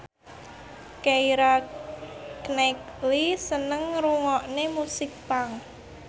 Keira Knightley seneng ngrungokne musik punk